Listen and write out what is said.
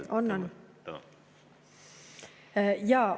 On-on.